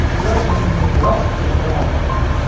Ular o‘yinni biroz kuchaytira oldi.